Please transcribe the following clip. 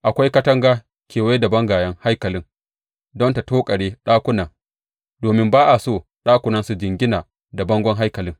Akwai katanga kewaye da bangayen haikalin don ta tokare ɗakunan, domin ba a so ɗakunan su jingina da bangon haikalin.